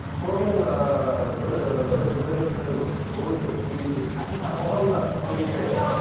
солармен ыыы бірігіп сондай бір ыыы роликтер көбейсе